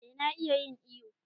Eh na iya yin iyo.